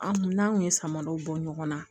An n'an kun ye samaraw bɔ ɲɔgɔn na